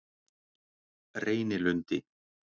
Reynilundi